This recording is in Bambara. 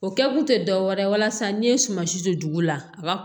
O kɛkun te dɔ wɛrɛ ye walasa n'i ye suma si don dugu la a ba